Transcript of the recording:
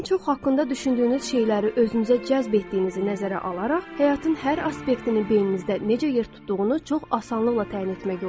Ən çox haqqında düşündüyünüz şeyləri özünüzə cəzb etdiyinizi nəzərə alaraq, həyatın hər aspektini beyninizdə necə yer tutduğunu çox asanlıqla təyin etmək olar.